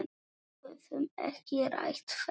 Við höfum ekki rætt þetta.